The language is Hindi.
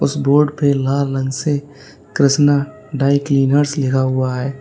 इस बोर्ड पे लाल रंग से कृष्णा ड्राई क्लीनर्स लिखा हुआ है।